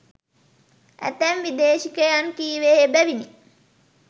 ඇතැම් විදේශිකයන් කීවේ එබැවිනි.